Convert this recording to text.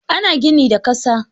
Ana gini da ƙasa.